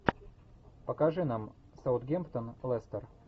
покажи нам саутгемптон лестер